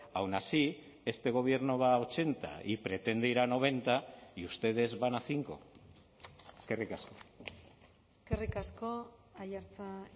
aun así este gobierno va a ochenta y pretende ir a noventa y ustedes van a cinco eskerrik asko eskerrik asko aiartza